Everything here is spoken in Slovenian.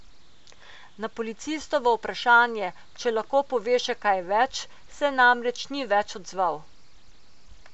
Na policistovo vprašanje, če lahko pove še kaj več, se namreč ni več odzval.